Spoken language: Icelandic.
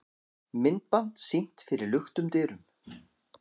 Myndband sýnt fyrir luktum dyrum